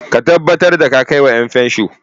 Ka tabbatar da ka kai wa 'yanfansho!